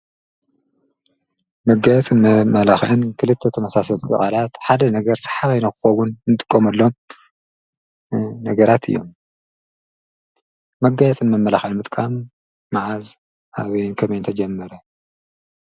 መጋየፅን መመላክዕን ክልተ ተመሳሰልቲ ቃላት ሓደ ነገረ ስሓባይ ንክከውን እንጥቀመሎም ነገራት እዮም። መጋየፅን መመላክዕን ምጥቃም መዓዝ፣ ኣበይን ከመይን ተጀሚሩ?